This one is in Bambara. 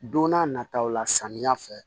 Don n'a nataw la samiya fɛ